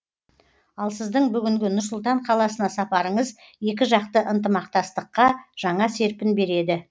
ал сіздің бүгінгі нұр сұлтан қаласына сапарыңыз екіжақты ынтымақтастыққа жаңа серпін береді